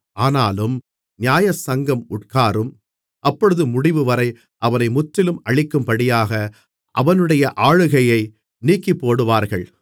ஆனாலும் நியாயசங்கம் உட்காரும் அப்பொழுது முடிவுவரை அவனை முற்றிலும் அழிக்கும்படியாக அவனுடைய ஆளுகையை நீக்கிப்போடுவார்கள்